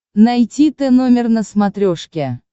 найти тномер на смотрешке